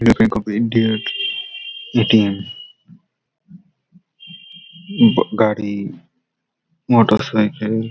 United bank of India -এর ATM উব গাড়ি মোটর সাইকেল ।